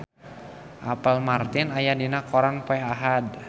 Apple Martin aya dina koran poe Ahad